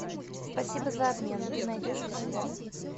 спасибо за обмен ты найдешь у себя